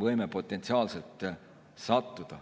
võime potentsiaalselt osalema sattuda.